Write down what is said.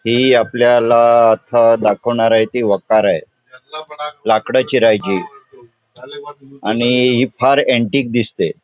ही आपल्याला आता दाखवणार आहे ती वखार आहे. लाकडं चिरायची आणि ही फार अँटिक दिसते.